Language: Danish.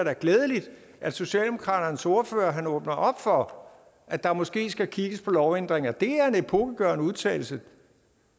er glædeligt at socialdemokratiets ordfører åbner op for at der måske skal kigges på lovændringer det er en epokegørende udtalelse